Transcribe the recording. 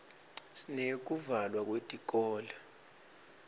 sineyekuvalwa kwetikolo